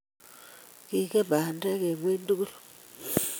Kingen bandek eng ingweny tugul